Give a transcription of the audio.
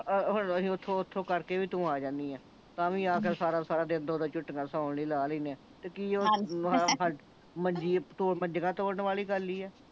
ਆ ਹੁਣ ਨੂੰ ਅਸੀਂ ਓਥੋਂ ਓਥੋਂ ਕਰਕੇ ਵੀ ਤੂੰ ਆ ਜਾਨੀ ਆ ਤਾਂ ਵੀ ਸਾਰਾ ਸਾਰਾ ਦਿਨ ਦੋ ਦੋ ਝੁੱਟੀਆਂ ਸੌਣ ਲਈ ਲਾਹ ਲੈਣੇ ਆਂ ਕੀ ਓਹ ਹਾਂਜੀ ਮੰਜੀ ਮੰਜੀਆਂ ਤੋੜਨ ਵਾਲੀ ਗੱਲ ਹੀ ਆ